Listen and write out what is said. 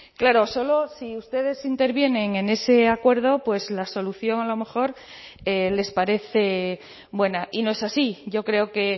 claro solo si ustedes intervienen en ese acuerdo pues la solución a lo mejor les parece buena y no es así yo creo que